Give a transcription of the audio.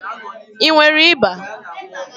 I nwere ịba?